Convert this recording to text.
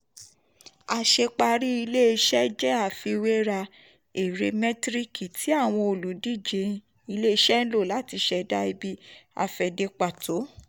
àṣeparí iṣẹ́ ṣíṣe jẹ́ àfiwéra èrè mẹ́tíríkì tí àwọn ólùdíje ilé-iṣẹ́ ń lò láti ṣẹ̀dá ibi-afẹ̀de pàtó.